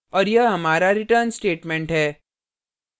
और यह हमारा return statement है